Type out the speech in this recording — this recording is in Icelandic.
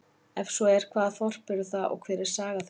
Er svo er, hvaða þorp eru það og hver er saga þeirra?